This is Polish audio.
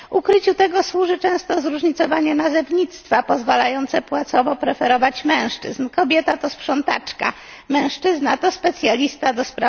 Ukryciu tego służy często zróżnicowanie nazewnictwa pozwalające płacowo preferować mężczyzn kobieta to sprzątaczka, a mężczyzna to specjalista ds.